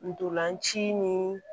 Ntolan ci ni